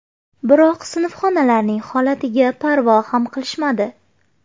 Biroq sinfxonalarning holatiga parvo ham qilishmadi.